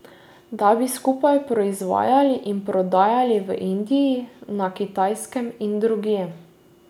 Da bi skupaj proizvajali in prodajali v Indiji, na Kitajskem in drugje.